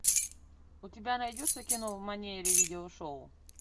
у тебя найдется кино в манере видео шоу